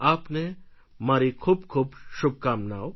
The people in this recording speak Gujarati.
આપને મારી ખૂબ ખૂબ શુભકામનાઓ